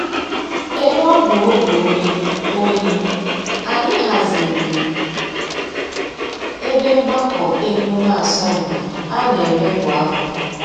Ebe ọ bụ oge oyi, oyi, anyị haziri ebe mgbakọ emume asọmpi a na-eme kwa afọ